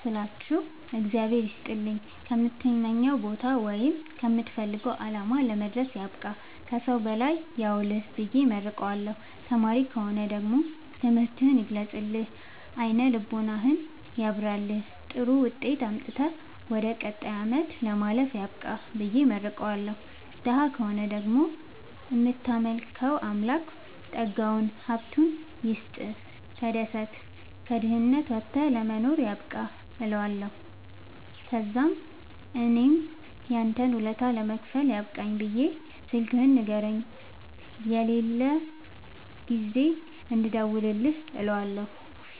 ስላችሁ እግዚአብሄር ይስጥልኝ ከምትመኘዉ ቦታወይም ከምትፈልገዉ አላማ ለመድረስያብቃህ ከሠዉ በላይ ያዉልህብየ እመርቀዋለሁ። ተማሪ ከሆነ ደግሞ ትምህርትህን ይግለጥልህ አይነ ልቦናህን ያብራልህ ጥሩዉጤት አምጥተህ ወደ ቀጣይ አመት ለማለፍ ያብቃህ ብየ እመርቀዋለሁ። ደሀ ከሆነ ደግሞ እምታመልከዉ አምላክ ጠጋዉን ሀብቱይስጥህ ተደስተህ ከድህነት ወተህ ለመኖር ያብቃህእለዋለሁ። ተዛምእኔም ያንተን ወለታ ለመክፈል ያብቃኝ ብየ ስልክህን ንገረኝ የሌላ ጊዜ እንድደዉልልህ እለዋለሁ